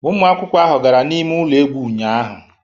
Ụmụ akwụkwọ ahụ gara n'ime ụlọ egwu ụnyahụ